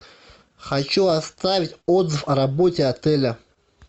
хочу оставить отзыв о работе отеля